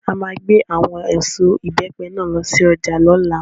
À máa gbé àwọn èso Ìbẹ́pẹ náà lọ sí ọjà lọ́la.